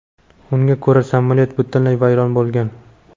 Unga ko‘ra samolyot butunlay vayron bo‘lgan.